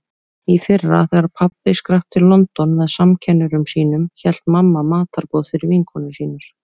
Í fyrra þegar pabbi skrapp til London með samkennurum sínum hélt mamma matarboð fyrir vinkonur sínar.